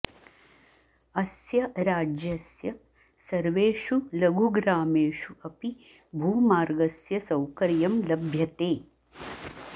अस्य राज्यस्य सर्वेषु लघुग्रामेषु अपि भूमार्गस्य सौकर्यं लभ्यते